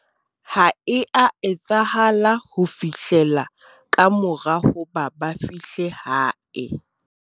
ha e a etsahala ho fihlela ka mora hoba ba fihle hae